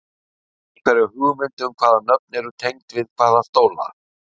Hefurðu einhverja hugmynd um hvaða nöfn eru tengd við hvaða stóla?